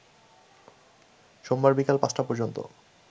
সোমবার বিকেল ৫টা পর্যন্ত